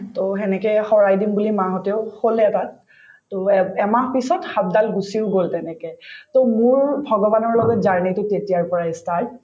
to সেনেকে শৰাই দিম বুলি মাহঁতেও কলে তাত to এব এমাহ পিছত সাপদাল গুচিও গল তেনেকে to মোৰ ভগৱানৰ লগত journey টো তেতিয়াৰ পৰাই ই start